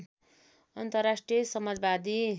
अन्तर्राष्ट्रिय समाजवादी